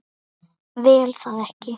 Vil það ekki.